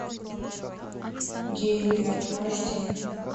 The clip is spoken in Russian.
геймер аш ди